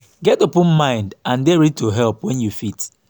get open mind and dey ready to help when you fit